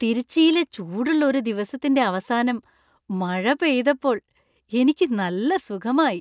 തിരുച്ചിയിലെ ചൂടുള്ള ഒരു ദിവസത്തിന്‍റെ അവസാനം മഴ പെയ്തപ്പോൾ എനിക്ക് നല്ല സുഖമായി.